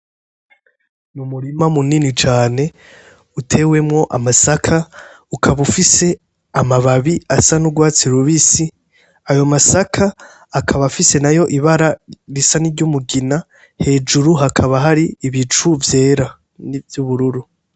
Ni umurima munini cane utewemwo amasaka ukaba ufise amababi asa n' ugwatsi rubisi ayo masaka akaba afise nayo ibara risa n' iryumugina hejuru hakaba hari ibicu vyera n' ivyubururu.